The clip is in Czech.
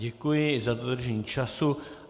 Děkuji za dodržení času.